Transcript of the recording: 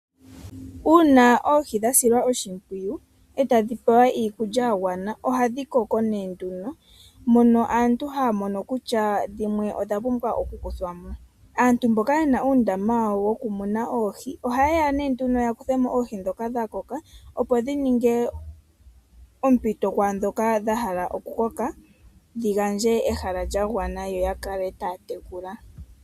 Uuna oohi dha silwa oshimpwiyu e tadhi pewa iikulya ya gwana ohadhi koko nee nduno mono aantu haya mono kutya dhimwe odha pumbwa okukuthwa mo. Aantu mboka ye na oondama dhokumuna oohi ohaye ya nduno okukutha mo oohi ndhoka dha koka, opo dhi ninge ompito kwaa ndhoka dha hala okukoka dhi gandje ehala lya gwana yo ya kale taya tekula.